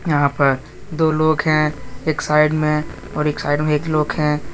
यहां पर दो लोग है एक साइड में और एक साइड में एक लोग है।